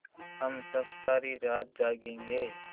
हम सब सारी रात जागेंगे